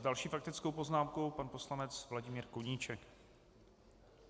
S další faktickou poznámkou pan poslanec Vladimír Koníček.